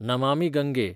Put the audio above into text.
Namami Gange